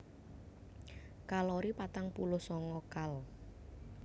Kalori patang puluh sanga kal